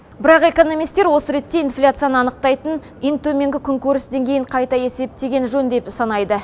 бірақ экономистер осы ретте инфляцияны анықтайтын ең төменгі күнкөріс деңгейін қайта есептеген жөн деп санайды